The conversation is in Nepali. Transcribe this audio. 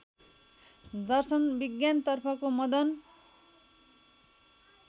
दर्शन विज्ञानतर्फको मदन